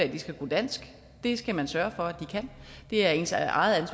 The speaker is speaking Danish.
de skal kunne dansk det skal man sørge for at de kan det er ens eget